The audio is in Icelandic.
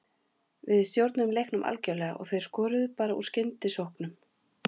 Við stjórnuðum leiknum algjörlega og þeir skoruðu bara úr skyndisóknum.